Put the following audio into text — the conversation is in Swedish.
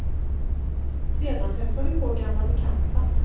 Sedan hälsade vi på gamla bekanta.